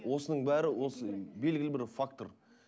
осының бәрі осы белгілі бір фактор